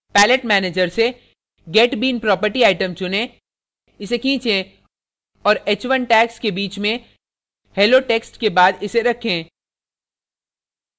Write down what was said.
palette manager से get bean property item चुनें इसे खीचें और h1 tags के bean में hello text के बाद इसे रखें